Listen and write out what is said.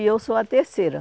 E eu sou a terceira.